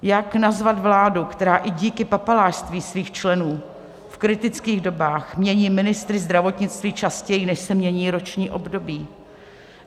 Jak nazvat vládu, která i díky papalášství svých členů v kritických dobách mění ministry zdravotnictví častěji, než se mění roční období.